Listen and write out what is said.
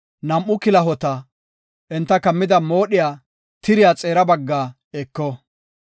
nam7u kilahota, enta kammida moodhiya tiriya xeera baggaa eko.